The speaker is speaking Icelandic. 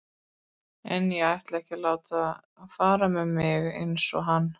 En ég ætla ekki að láta fara með mig eins og hann.